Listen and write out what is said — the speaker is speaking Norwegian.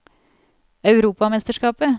europamesterskapet